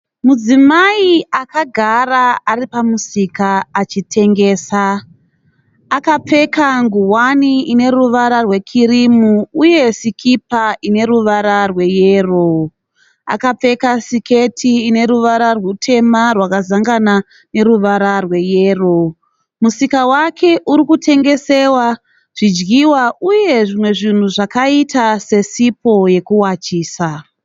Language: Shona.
Mudzimai akagara ari pamusika achitengesa. Akapfeka ngowani ineruvara rwekirimu uye sikipa ineruvara rweyero. Akapfeka siketi ine ruvara rutema rwakazangana neruvara rweyero. Musika wake urikutengeswa zvidyiwa uye zvimwe zvinhu zvakaita sesipo yekugezesa.